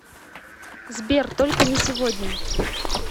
сбер только не сегодня